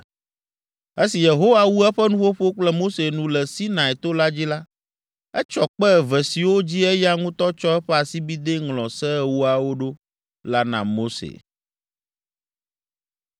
Esi Yehowa wu eƒe nuƒoƒo kple Mose nu le Sinai to la dzi la, etsɔ kpe eve siwo dzi eya ŋutɔ tsɔ eƒe asibidɛ ŋlɔ Se Ewoawo ɖo la na Mose.